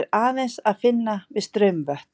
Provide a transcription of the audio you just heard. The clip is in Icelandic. er aðeins að finna við straumvötn.